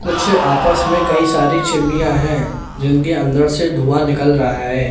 कुछ आपस मे कई सारी चिमनियां हैं जिनके अंदर से धुआं निकल रहा है।